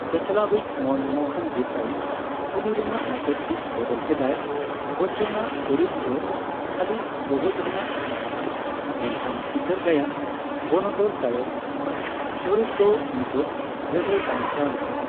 ᱪᱟᱪᱞᱟᱣᱤᱡᱽ ᱢᱚᱱᱢᱚᱦᱚᱱ ᱫᱮᱥᱟᱭ 'ᱠᱩᱞᱤ'ᱼᱨᱮᱱᱟᱜ ᱢᱩᱪᱟᱹᱫ ᱦᱤᱸᱥ ᱵᱚᱫᱚᱞ ᱠᱮᱫᱟᱭ, ᱵᱚᱪᱪᱚᱱᱟᱜ ᱪᱚᱨᱤᱛ ᱫᱚ ᱠᱷᱟᱹᱞᱤ ᱜᱚᱜᱚᱡ ᱨᱮᱱᱟᱜ ᱛᱟᱦᱮᱸ ᱠᱟᱱᱟ ᱢᱮᱱᱠᱷᱟᱱ ᱪᱤᱛᱟᱹᱨ ᱜᱟᱭᱟᱱ ᱵᱚᱱᱚᱫᱚᱞ ᱛᱟᱭᱚᱢ ᱪᱚᱨᱤᱛ ᱫᱚ ᱢᱩᱪᱟᱹᱫ ᱨᱮᱫᱚᱭ ᱵᱟᱧᱪᱟᱣ ᱞᱮᱱᱟᱭ ᱾